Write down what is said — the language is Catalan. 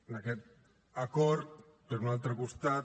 en aquest acord per un altre costat